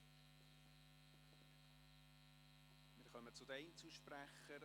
Wir kommen zu den Einzelsprechern.